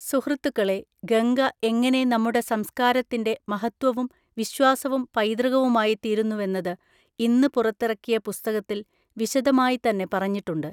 സുഹൃത്തുക്കളെ, ഗംഗ എങ്ങനെ നമ്മുടെ സംസ്കാരത്തിന്റെ മഹത്വവും വിശ്വാസവും പൈതൃകവുമായി തീരുന്നുവെന്നത് ഇന്ന് പുറത്തിറക്കിയ പുസ്തകത്തിൽ വിശദമായി തന്നെ പറഞ്ഞിട്ടുണ്ട്.